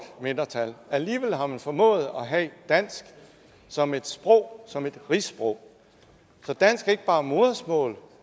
mindretal alligevel har man formået at have dansk som et sprog som et rigssprog så dansk er ikke bare modersmål